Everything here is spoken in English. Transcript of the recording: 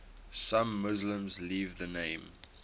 some muslims leave the name